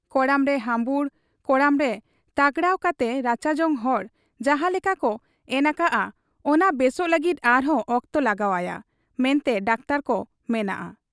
ᱠᱚᱲᱟᱢᱨᱮ ᱦᱟᱹᱢᱵᱩᱲ, ᱠᱚᱲᱟᱢᱨᱮ ᱛᱟᱜᱽᱲᱟᱣ ᱠᱟᱛᱮ ᱨᱟᱪᱟᱡᱚᱝ ᱦᱚᱨ ᱡᱟᱦᱟᱸ ᱞᱮᱠᱟᱠᱚ ᱮᱱ ᱟᱠᱟᱜ ᱟ, ᱚᱱᱟ ᱵᱮᱥᱚᱜ ᱞᱟᱹᱜᱤᱫ ᱟᱨᱦᱚᱸ ᱚᱠᱛᱚ ᱞᱟᱜᱟᱟᱣᱜ ᱟ ᱢᱮᱱᱛᱮ ᱰᱟᱠᱛᱚᱨ ᱠᱚ ᱢᱮᱱᱟᱜ ᱟ ᱾